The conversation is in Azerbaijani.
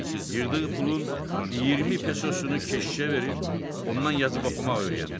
Yığdığı pulun 20 pesosunu keşişə verib, ondan yazıb oxumaq öyrəndi.